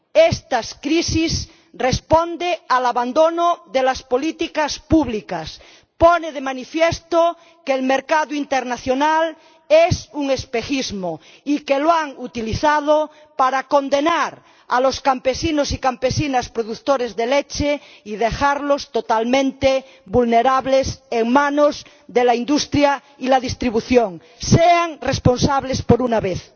Esta crisis responde al abandono de las políticas públicas, pone de manifiesto que el mercado internacional es un espejismo y que lo han utilizado para condenar a los campesinos y campesinas productores de leche y dejarlos totalmente vulnerables en manos de la industria y la distribución. Sean responsables por una vez.